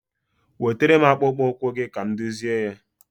Wetere m akpụkpụ ụkwụ gị ka m dụzịe ya.